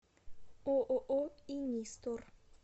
ооо инистор